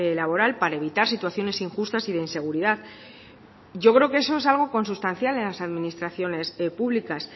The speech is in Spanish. laboral para evitar situaciones injustas y de inseguridad yo creo que eso es algo consustancial en las administraciones públicas